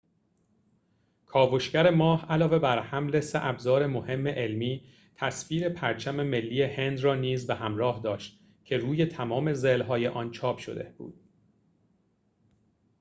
کاوشگر ماه علاوه بر حمل سه ابزار مهم علمی تصویر پرچم ملی هند را نیز به همراه داشت که روی تمام ضلع‌های آن چاپ شده بود